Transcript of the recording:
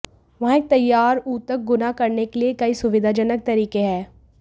वहाँ एक तैयार ऊतक गुना करने के लिए कई सुविधाजनक तरीके हैं